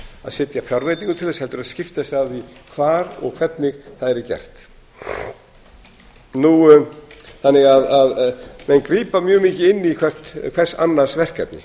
að setja fjárveitingu til þess heldur að skipa sér af því hvar og hvernig það yrði gert menn grípa þannig mjög mikið inn í hvers annars verkefni